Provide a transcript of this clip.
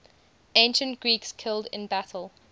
ancient greeks killed in battle